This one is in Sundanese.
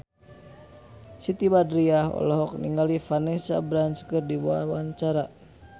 Siti Badriah olohok ningali Vanessa Branch keur diwawancara